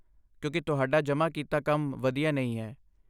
ਕਿਉਂਕਿ ਤੁਹਾਡਾ ਜਮ੍ਹਾਂ ਕੀਤਾ ਕੰਮ ਵਧੀਆ ਨਹੀਂ ਹੈ।